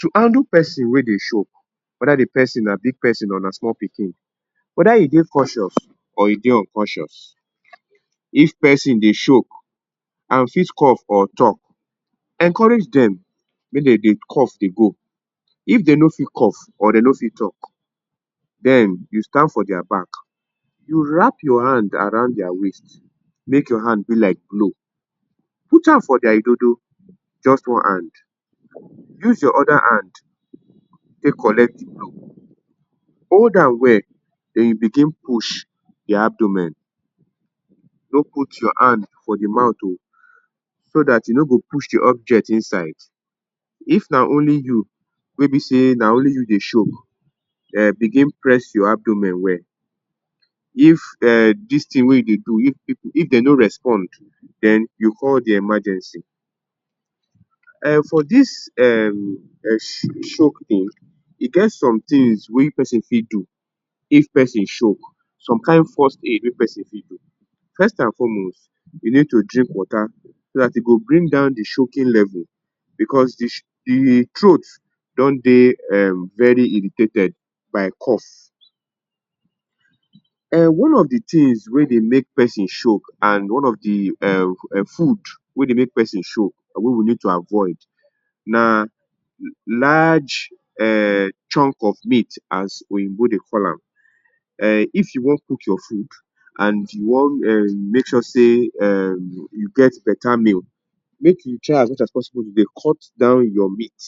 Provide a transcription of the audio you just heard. To handle person wey dey choke; whether de person na big persin or small pikin, whether e dey conscious or e dey unconscious. If person dey choke and fit cough or talk, encourage dem make dem dey cough dey go. If dey no fit cough or dey no fit talk, den you stand for their back, you wrap your hand around their waist make your hand be like blow put hand for their idodo just one hand, use your other hand take collect de blow hold am well den you begin push their abdomen. No put your hand for de mouth oo so dat you no go push de object inside. If na only you wey be sey na only you dey choke, um begin press your abdomen well, if um dis thing wey e dey do if If dey no respond den you call de emergency. Um for dis um choke thing, e get some things wey person fit do if person choke, some kain first aid wey person fit do. First and foremost, you need to drink water so dat e go bring down de choking level because de throat don dey very irritated by cough. Um one of de tins wey dey make person choke and one of de um food wey dey make person choke wey we need to avoid na large um chunk of meat as oyinbo dey call am. Um if you wan cook your food and you want make sure sey um you get better meal, make you try as much as possible dey cut down your meat